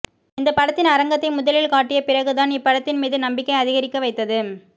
இந்தப் படத்தின் அரங்கத்தை முதலில் காட்டிய பிறகு தான் இப்படத்தின் மீது நம்பிக்கை அதிகரிக்க வைத்தது